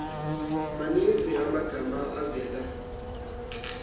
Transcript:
maninzi amagama avela